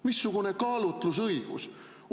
Missugune kaalutlusõigus?!